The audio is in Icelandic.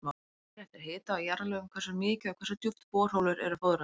Það fer eftir hita og jarðlögum hversu mikið og hversu djúpt borholur eru fóðraðar.